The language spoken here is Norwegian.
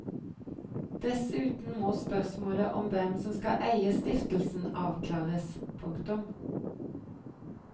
Dessuten må spørsmålet om hvem som skal eie stiftelsen avklares. punktum